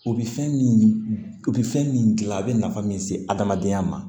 U bɛ fɛn min u bɛ fɛn min gilan a bɛ nafa min se adamadenya ma